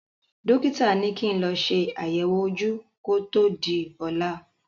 Dọ́kítà ní kí n lọ ṣe àyẹ̀wò ojú kó tó di ọ̀la.